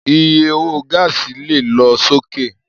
Iye owó gáàsì lè lọ sókè